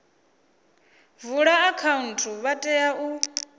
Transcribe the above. vula akhaunthu vha tea u